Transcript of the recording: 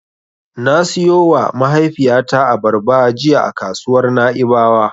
Na siyowa mahaifiyata abarba jiya a kasuwar Na'ibawa.